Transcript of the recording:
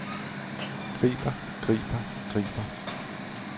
griber griber griber